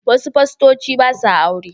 Wasu fastoci ba sa aure.